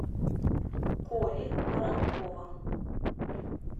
коли воронкова